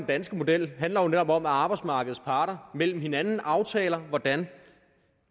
danske model handler jo netop om at arbejdsmarkedets parter mellem hinanden aftaler hvordan